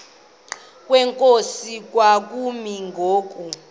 kwenkosi kwakumi ngoku